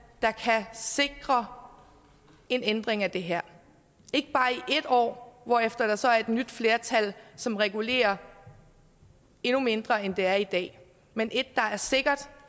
der kan sikre en ændring af det her ikke bare i et år hvorefter der så er et nyt flertal som regulerer endnu mindre end det er i dag men et der er sikkert